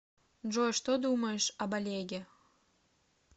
джой что думаешь об олеге